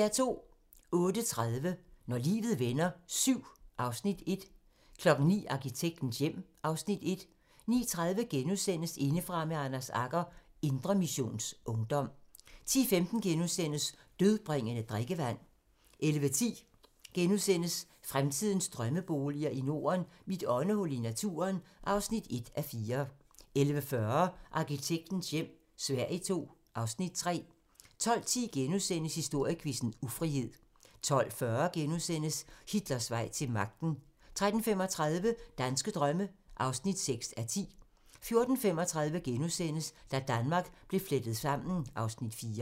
08:30: Når livet vender VII (Afs. 1) 09:00: Arkitektens hjem (Afs. 1) 09:30: Indefra med Anders Agger - Indre Missions Ungdom * 10:15: Dødbringende drikkevand * 11:10: Fremtidens drømmeboliger i Norden: Mit åndehul i naturen (1:4)* 11:40: Arkitektens hjem - Sverige II (Afs. 3) 12:10: Historiequizzen: Ufrihed * 12:40: Hitlers vej til magten * 13:35: Danske drømme (6:10) 14:35: Da Danmark blev flettet sammen (Afs. 4)*